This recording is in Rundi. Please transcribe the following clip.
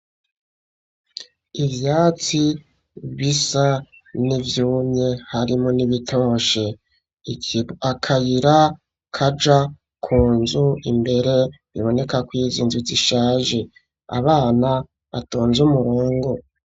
Ivyatsi bisa n'ivyumye harimwo n'ibitoshe, akayira kaja kunzu imbere bibonekw'izo nzu zishaje, abana batonz'umurongo